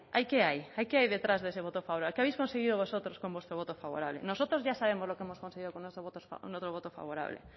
ahí qué hay qué hay detrás de ese voto favorable qué habéis conseguido vosotros con vuestro voto favorable nosotros ya sabemos lo que hemos conseguido con nuestro voto favorable